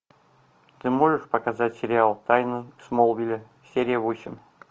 ты можешь показать сериал тайны смолвиля серия восемь